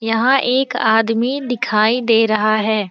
यहाँ एक आदमी दिखाई दे रहा है।